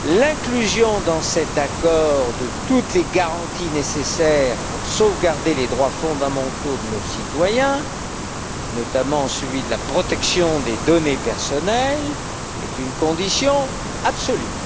L'inclusion dans cet accord de toutes les garanties nécessaires pour sauvegarder les droits fondamentaux de nos citoyens, notamment celui de la protection des données personnelles, est une condition absolue.